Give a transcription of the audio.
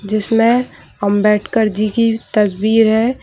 जिसमें अंबेडकर जी की तस्वीर है।